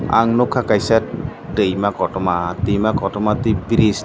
ang nukha kaisa tuima kotoma tuima kotoma tei bridge tong--